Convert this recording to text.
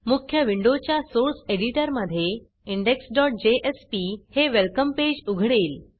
मुख्य विंडोच्या सोर्स एडिटरमधे indexजेएसपी हे वेलकम पेज उघडेल